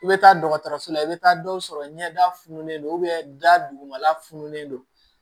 I bɛ taa dɔgɔtɔrɔso la i bɛ taa dɔw sɔrɔ ɲɛda fununen don da dugumala fununen don